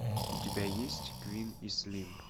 у тебя есть квин и слим